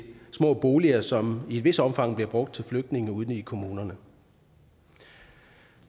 små boliger som i et vist omfang bliver brugt til flygtninge ude i kommunerne